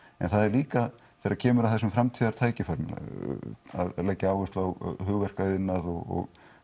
en það er líka þegar kemur að þessum framtíðartækifærum að leggja áherslu á hugverkaiðnað og